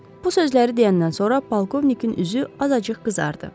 Bu sözləri deyəndən sonra polkovnikin üzü azacıq qızardı.